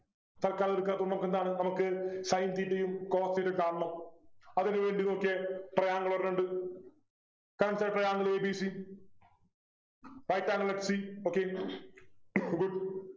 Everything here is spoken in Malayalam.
തൽക്കാലം എടുക്കാ അപ്പൊ മ്മക്കെന്താണ് നമുക്ക് Sin theta യും cos theta യും കാണണം അതിനു വേണ്ടി നോക്കിയേ triangle ഒരെണ്ണമുണ്ട് Consider triangle a b c right angle at c okay good